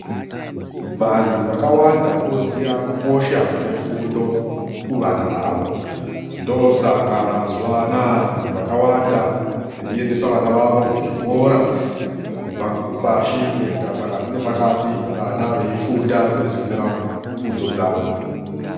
Vantu vakawanda voziya kukosha kwefundo kuvana vavo. Ndoosaka mazuvaanaya vantu vakawanda veiendesa vana vavo kuzvikora kubva pasi kuenda pakati nepakati vana veifunda veizonyora bvunzo dzavo.